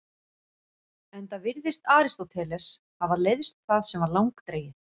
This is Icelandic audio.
Enda virðist Aristóteles hafa leiðst það sem var langdregið.